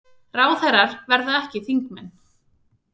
Ráðherrar verði ekki þingmenn